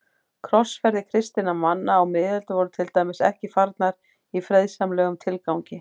Krossferðir kristinna manna á miðöldum voru til dæmis ekki farnar í friðsamlegum tilgangi.